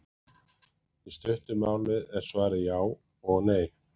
Í stuttu máli er svarið já og nei.